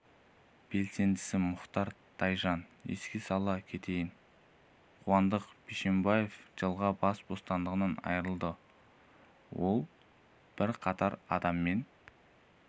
белсендісі мұхтар тайжан еске сала кетейін қуандық бишімбаев жылға бас бостандығынан айырылды ол бірқатар адаммен